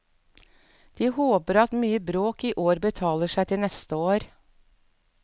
De håper at mye bråk i år betaler seg til neste år.